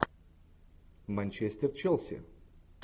манчестер челси